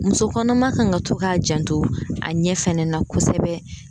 Muso kɔnɔma kan ka to k'a janto a ɲɛ fɛnɛ na kosɛbɛ